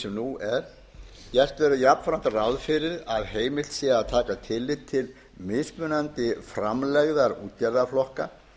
sem nú er gert verður jafnframt ráð fyrir að heimilt verði að taka tillit til mismunandi framlegðar útgerðarflokka